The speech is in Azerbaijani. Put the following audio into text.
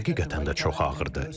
Həqiqətən də çox ağırdır.